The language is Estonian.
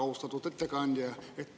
Austatud ettekandja!